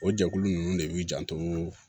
O jɛkulu ninnu de b'i janto